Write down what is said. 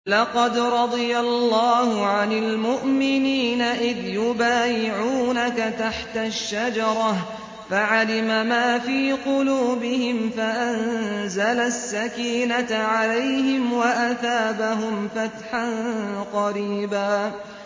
۞ لَّقَدْ رَضِيَ اللَّهُ عَنِ الْمُؤْمِنِينَ إِذْ يُبَايِعُونَكَ تَحْتَ الشَّجَرَةِ فَعَلِمَ مَا فِي قُلُوبِهِمْ فَأَنزَلَ السَّكِينَةَ عَلَيْهِمْ وَأَثَابَهُمْ فَتْحًا قَرِيبًا